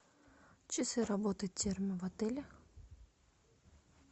часы работы в отеле